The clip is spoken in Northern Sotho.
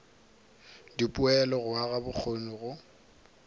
dipoelo go aga bokgoni go